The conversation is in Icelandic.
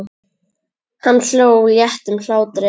Hann hló léttum hlátri.